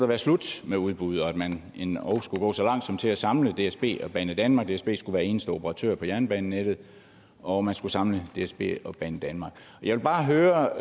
være slut med udbud og at man endog skulle gå så langt som til at samle dsb og banedanmark dsb skulle være eneste operatør på jernbanenettet og man skulle samle dsb og banedanmark jeg vil bare høre